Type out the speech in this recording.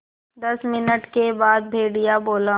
दस मिनट के बाद भेड़िया बोला